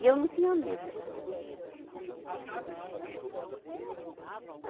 E eu não tinha medo de fazer as coisa, não. Tinha não